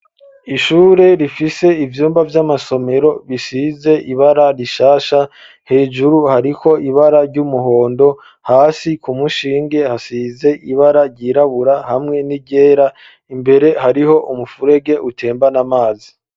Ishure rifise ivyumba vy'amasomero bisize ibara rishasha hejuru hariko ibara ry'umuhondo ,hasi ku mushinge , ibara ryirabura hamwe n'iryera imbere ,hariho umufurege, utembana amazi .